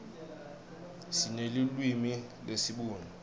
sinelulwimi lesibhunu